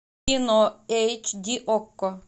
кино эйч ди окко